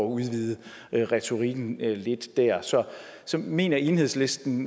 udvide retorikken lidt der så mener enhedslisten